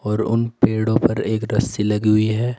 और उन पेड़ो पर एक रस्सी लगी हुई है।